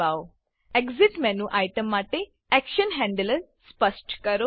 exit exit menu item માટે action handler સ્પષ્ટ કરો